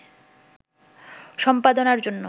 সম্পাদনার জন্য